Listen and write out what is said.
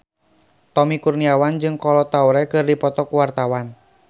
Tommy Kurniawan jeung Kolo Taure keur dipoto ku wartawan